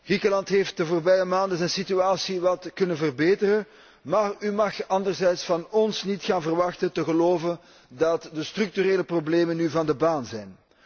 Griekenland heeft de voorbije maanden zijn situatie wat kunnen verbeteren, maar u mag anderzijds van ons niet gaan verwachten dat wij geloven dat de structurele problemen nu van de baan zijn.